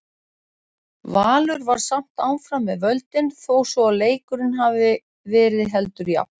Valur var samt áfram með völdin þó svo að leikurinn hafi verið heldur jafn.